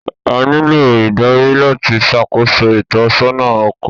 A ńlo idari lati ṣakoso itọsọna ọkọ